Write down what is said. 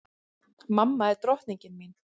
Mamma er drottningin mín.